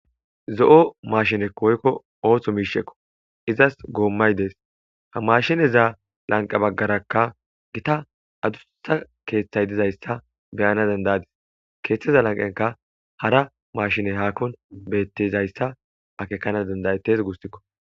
Zo7o mashinekko woykko ooththo miishekko izas goommay dees ha mashineza lanqa baggarakka gita adussa keeththay dizayssa beyana dandayadis keeththeza lanqenka hara mashine haakon bettizayssa akekana dandayettes gussikko